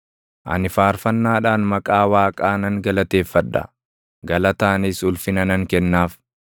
Ani faarfannaadhaan maqaa Waaqaa nan galateeffadha; galataanis ulfina nan kennaaf.